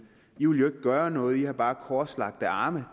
jo ikke vil gøre noget jo bare har korslagte arme